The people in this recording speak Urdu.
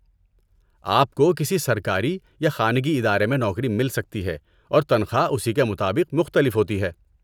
آپ کو کسی سرکاری یا خانگی ادارے میں نوکری مل سکتی ہے، اور تنخواہ اسی کے مطابق مختلف ہوتی ہے۔